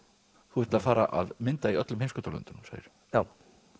þú ert að fara að mynda í öllum heimskautalöndunum segirðu já